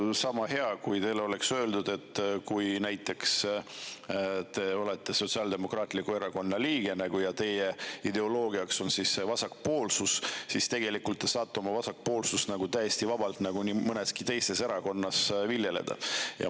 Noh, sama hea oleks, kui teile öeldaks, et kuigi te olete näiteks Sotsiaaldemokraatliku Erakonna liige ja teie ideoloogiaks on vasakpoolsus, siis tegelikult te saate oma vasakpoolsust täiesti vabalt nii mõneski teises erakonnas viljeleda.